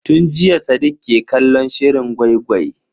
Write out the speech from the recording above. Tun jiya sadiq ke kallon shirin gwai-gwai.